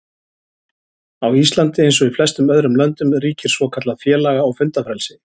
Á Íslandi, eins og í flestum öðrum löndum, ríkir svokallað félaga- og fundafrelsi.